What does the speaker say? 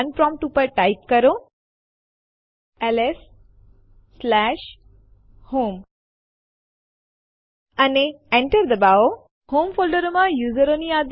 જેમ તમે જોઈ શકો છો ટેસ્ટ1 ટેસ્ટ2 અને ટેસ્ટ3 આ ડિરેક્ટરી માં હાજર છે